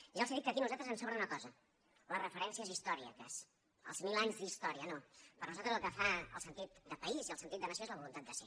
ja els dic que aquí a nosaltres ens sobra una cosa les referències històriques els mil anys d’història no per nosaltres el que fa el sentit de país i el sentit de nació és la voluntat de ser